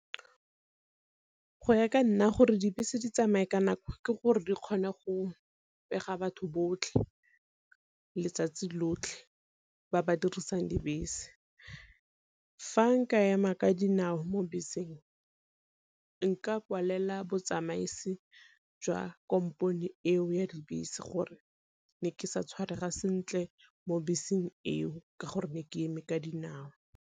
Go ya ka nna gore dibese di tsamaye ka nako ke gore re kgone go pega batho botlhe letsatsi lotlhe ba ba dirisang dibese. Fa nka ema ka dinao mo beseng nka kwalela botsamaisi jwa kompone eo ya dibese gore ne ke sa tshwarega sentle mo beseng eo ka gore ne ke eme ka dinao.